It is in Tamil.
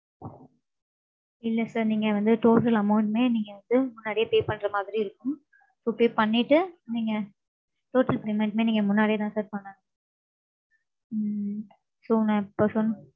இல்ல sir நீங்க வந்து, total amount மே, நீங்க வந்து, முன்னாடியே pay பண்ற மாதிரி இருக்கும். So pay பண்ணிட்டு, நீங்க total payment மே நீங்க முன்னாடியேதான் sir பண்ணணும். உம் so நான் இப்ப சொன்~